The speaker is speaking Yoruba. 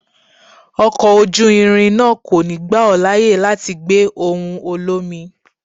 Ọkọ̀ ojú irin náà kò ní gbà ó láyè láti gbé ohùn olómi.